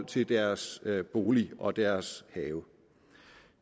til deres bolig og deres have